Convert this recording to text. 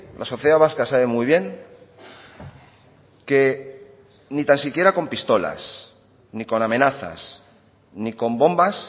la sociedad vasca sabe muy bien que ni tan siquiera con pistolas ni con amenazas ni con bombas